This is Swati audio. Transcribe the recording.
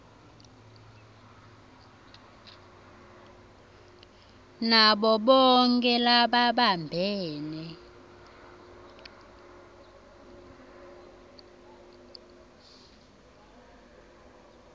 nabo bonkhe lababambe